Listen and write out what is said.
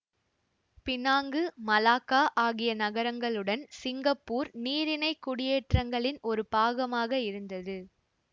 Penang Malacca ஆகிய நகரங்களுடன் Singapore நீரிணை குடியேற்றங்களின் ஒரு பாகமாக இருந்தது